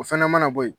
O fana mana bɔ yen